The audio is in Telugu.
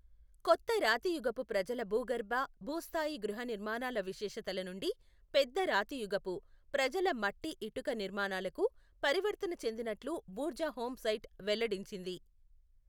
కొత్త రాతియుగపు ప్రజల భూగర్భ, భూ స్థాయి గృహనిర్మాణ విశేషతల నుండి పెద్ద రాతియుగపు, ప్రజల మట్టి ఇటుక నిర్మాణాలకు పరివర్తన చెందినట్లు బుర్జాహోం సైట్ వెల్లడించింది.